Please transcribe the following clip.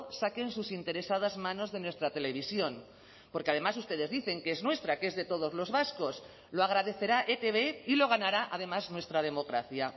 saquen sus interesadas manos de nuestra televisión porque además ustedes dicen que es nuestra que es de todos los vascos lo agradecerá etb y lo ganará además nuestra democracia